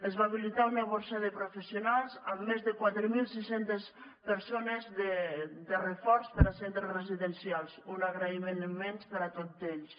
es va habilitar una borsa de professionals amb més de quatre mil sis cents persones de reforç per a centres residencials un agraïment immens per a tot ells